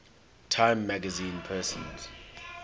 time magazine persons